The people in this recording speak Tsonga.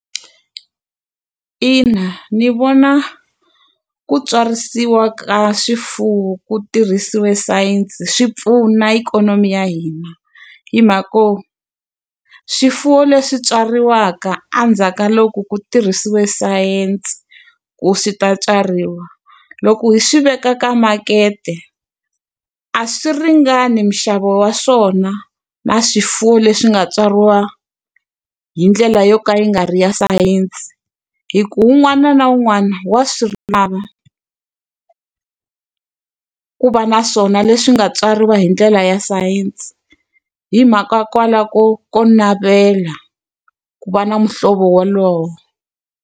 Ina ndzi vona ku tsarisiwa ka swifuwo ku tirhisiwe sayense swi pfuna ikhonomi ya hina. Hi mhaka yo, swifuwo leswi tswariwaka endzhaku ka loko ku tirhisiwe sayense ku swi ta tswariwa, loko hi swi veka ka makete a swi ringani minxavo wa swona na swifuwo leswi nga tswariwa hi ndlela yo ka yi nga ri ya sayense. Hikuva un'wana na un'wana wa swi lava ku va na swona leswi nga tswariwa hi ndlela ya sayense, hi mhaka kwalaho ko ko navela ku va na muhlovo wolowo.